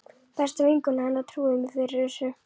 Besta vinkona hennar trúði mér fyrir þessu.